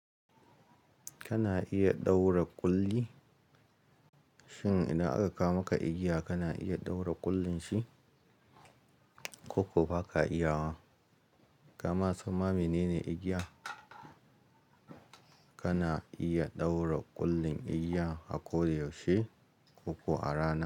Kana iya ɗaura ƙulli, shin idan aka ka maka igiya kana iya ɗaura ƙullin shi? Ko ko ba ka iya wa? Kama samma minene igiya, kana iya ɗaura ƙullin igiya a ko da yaushe ko kuwa a rana.